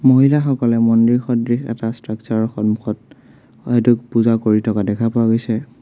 মহিলা সকলে মন্দিৰ সদৃশ এটা ষ্ট্ৰাকচাৰ ৰ সন্মুখত হয়টো পূজা কৰি থকা দেখা পোৱা গৈছে।